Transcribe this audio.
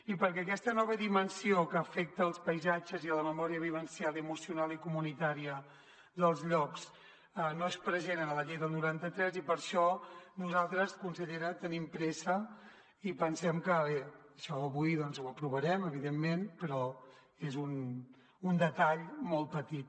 i perquè aquesta nova dimensió que afecta els paisatges i la memòria vivencial i emocional i comunitària dels llocs no és present en la llei del noranta tres per això nosaltres consellera tenim pressa i pensem que bé això avui doncs ho aprovarem evidentment però és un detall molt petit